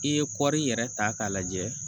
I ye kɔɔri yɛrɛ ta k'a lajɛ